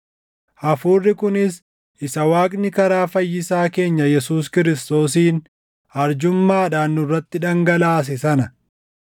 hafuurri kunis isa Waaqni karaa Fayyisaa keenya Yesuus Kiristoosiin arjummaadhaan nurratti dhangalaase sana;